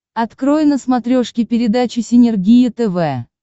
открой на смотрешке передачу синергия тв